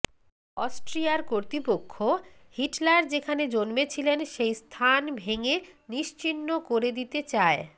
অস্ট্রিয়ার কর্তৃপক্ষ হিটলার যেখানে জন্মেছিলেন সেই স্থান ভেঙে নিশ্চিহ্ণ করে দিতে চায়